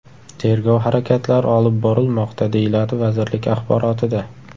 Tergov harakatlari olib borilmoqda”, deyiladi vazirlik axborotida.